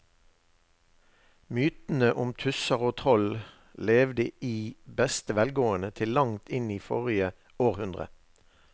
Mytene om tusser og troll levde i beste velgående til langt inn i forrige århundre.